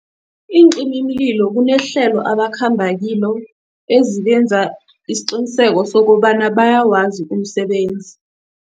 Iincimimlilo kunehlelo abakhamba kilo ezibenza isiqiniseko sokobana bayawazi umsebenzi.